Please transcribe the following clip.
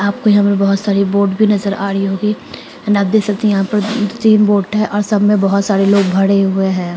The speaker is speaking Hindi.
आपको यहां पे बहुत सारे बोट भी नजर आरी होंगी एंड आप देख सकते यहाँ पर तीन बोट है और सब में बहुत सारे लोग भरे हुए है।